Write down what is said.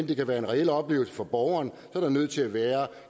kan være en reel oplevelse for borgeren er der nødt til at være